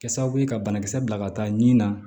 Kɛ sababu ye ka banakisɛ bila ka taa nin na